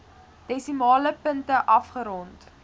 desimale punte afgerond